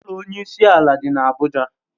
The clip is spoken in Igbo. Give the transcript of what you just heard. Ụlọ Onye isi ala dị n'Abuja.